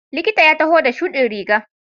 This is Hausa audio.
Likitan ya taho da shudin riga.